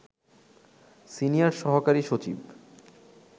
senior সহকারী সচিব